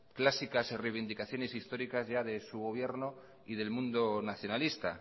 clásicas reivindicaciones históricas ya de su gobierno y del mundo nacionalista